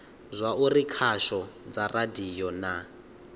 zwauri khasho dza radio na